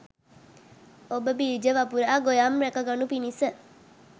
ඔබ බීජ වපුරා, ගොයම් රැක ගනු පිණිස